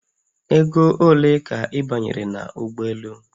Ego ole ka ị banyere n'ụgbọelu?